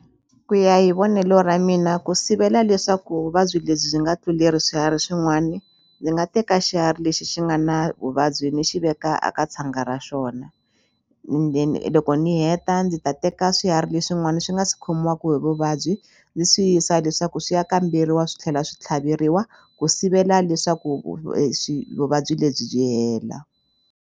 Ku ya hi vonelo ra mina ku sivela leswaku vuvabyi lebyi byi nga tluleli swiharhi swin'wani ndzi nga teka xiharhi lexi xi nga na vuvabyi ni xi veka a ka tshanga ra xona then loko ni heta ndzi ta teka swiharhi leswin'wana swi nga si khomiwaku hi vuvabyi ndzi swi yisa leswaku swi ya kamberiwa swi tlhela swi tlhaveriwa ku sivela leswaku vuvabyi lebyi byi hela.